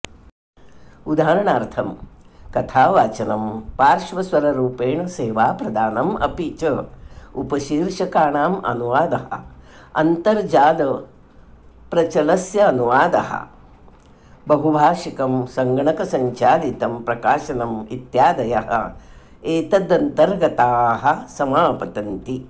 उदाहरणार्थं कथावाचनं पार्श्वस्वररूपेण सेवाप्रदानं अपि च उपशीर्षकाणाम् अनुवादः अन्तर्जालपचलस्यानुवादः बहुभाषिकं संगणकसंचालितं प्रकाशनं इत्यादयः एतदन्तर्गताः समापतन्ति